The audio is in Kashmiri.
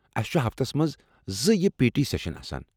اسہِ چھِ ہفتس منٛز زٕیہ پی ٹی سٮ۪شن آسان۔